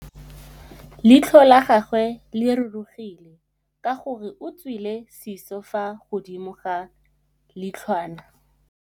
Leitlhô la gagwe le rurugile ka gore o tswile sisô fa godimo ga leitlhwana.